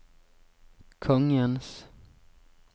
kongens